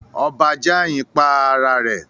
Ọba Jàyin pa ara rẹ̀